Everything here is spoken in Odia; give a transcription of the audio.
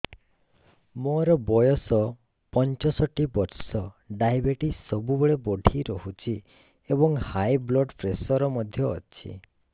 ମୋର ବୟସ ପଞ୍ଚଷଠି ବର୍ଷ ଡାଏବେଟିସ ସବୁବେଳେ ବଢି ରହୁଛି ଏବଂ ହାଇ ବ୍ଲଡ଼ ପ୍ରେସର ମଧ୍ୟ ଅଛି